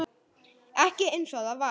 Ekki einsog það var.